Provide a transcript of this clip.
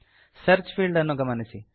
search field ಅನ್ನು ಗಮನಿಸಿ